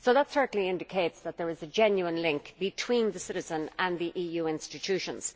That certainly indicates that there is a genuine link between the citizens and the EU institutions.